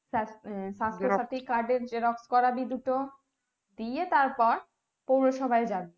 সাস সাস্থ সাথীর card এর xerox করাবি দুটো দিয়ে তারপর পৌরসভায় যাবি